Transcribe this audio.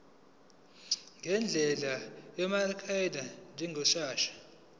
ngendlela yamagrafu njengeshadi